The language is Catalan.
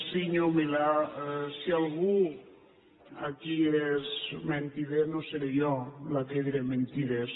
senyor milà si algú aquí és mentider no seré jo la que diré mentides